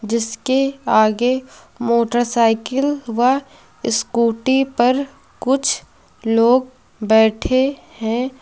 जिसके आगे मोटरसाइकिल व स्कूटी पर कुछ लोग बैठे है।